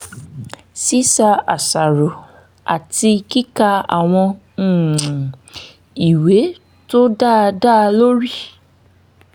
ṣíṣàṣàrò àti kíka àwọn um ìwé tó dá dá lórí